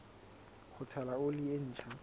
ho tshela oli e ntjha